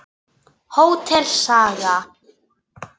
Hótel Saga.